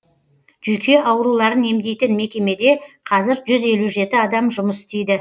жүйке ауруларын емдейтін мекемеде қазір жүз елу жеті адам жұмыс істейді